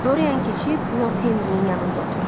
Dorian keçib Lord Henrinin yanında oturdu.